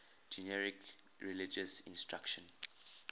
generic religious instruction